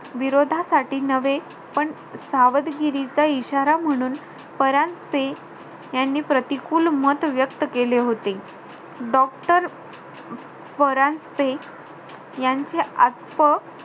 विरोधासाठी नवे, पण सावधगिरीचा इशारा म्हणून, परांजपे यांनी प्रतिकूल मत व्यक्त केले होते. Doctor परांजपे यांचे आतप,